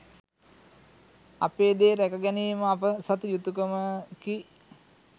අපේ දේ රැක ගැනීම අප සතු යුතුකමකි